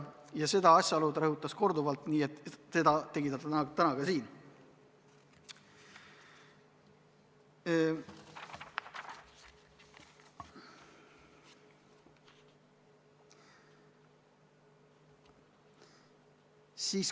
Ja seda asjaolu ta rõhutas komisjonis korduvalt ja tegi seda täna ka siin.